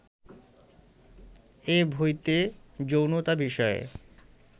এ বইতে যৌনতা বিষয়ে